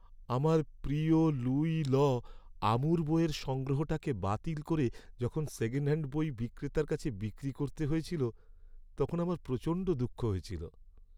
আমার প্রিয় Louis 'L'Amour বইয়ের সংগ্রহটাকে বাতিল করে যখন সেকেণ্ডহ্যাণ্ড বই বিক্রেতার কাছে বিক্রি করতে হয়েছিল তখন আমার প্রচণ্ড দুঃখ হয়েছিল।